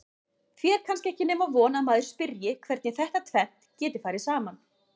Því er kannski ekki nema von að maður spyrji hvernig þetta tvennt geti farið saman?